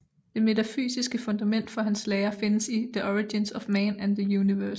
Det metafysiske fundament for hans lære findes i The Origins of Man and the Universe